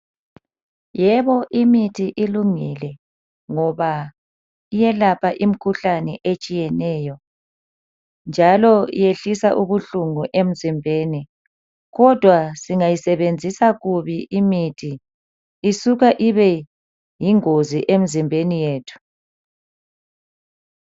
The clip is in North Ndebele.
Yeboo imithi ilungile ngoba iyelapha imikhuhlane etshiyeneyo njalo iyehlisa ubuhlungu emzimbeni kodwa singayisebenzisa kubi imithi isuka ibe yingozi emzimbeni yethu.